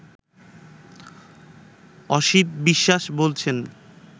অসিত বিশ্বাস বলছেন